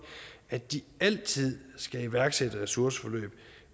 at de altid skal iværksætte et ressourceforløb